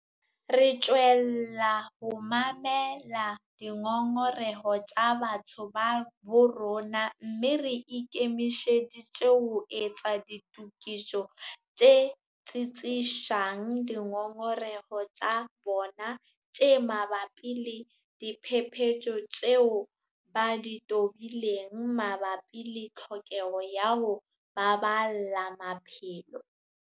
Re tswella ho mamela dingongoreho tsa batho ba bo rona mme re ikemiseditse ho etsa ditokiso tse tsitsisang dingongoreho tsa bona tse mabapi le diphephetso tseo ba di tobileng mabapi le tlhokeho ya ho baballa maphelo.